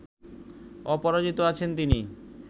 অপরাজিত আছেন তিনি